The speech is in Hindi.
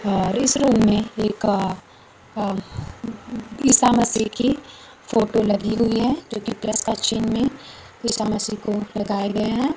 है और इस रूम में एक अह ईसा मसीह की फोटो लगी हुई है जो कि प्लस का चिन्ह में ईसा मसीह को लगाया गया है।